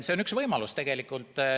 See on üks võimalus.